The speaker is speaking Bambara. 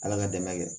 Ala ka dɛmɛ kɛ